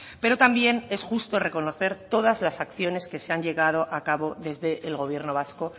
pero también es justo reconocer todas las acciones que se han llevado a cabo desde el gobierno vasco